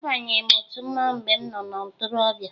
Abanyeghi m otu mmanwụ mgbe m nọ na ntorobịa